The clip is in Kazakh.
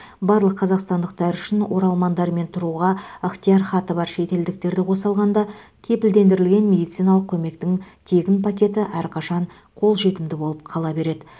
барлық қазақстандықтар үшін оралмандар мен тұруға ықтиярхаты бар шетелдіктерді қоса алғанда кепілдендірілген медициналық көмектің тегін пакеті әрқашан қолжетімді болып қала береді